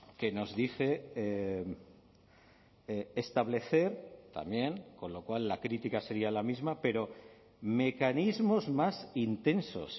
que nos dice establecer también con lo cual la crítica sería la misma pero mecanismos más intensos